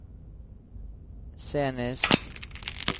scenisk